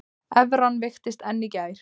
Evran veiktist enn í gær